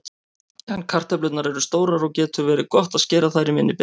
Ef kartöflurnar eru stórar getur verið gott að skera þær í minni bita.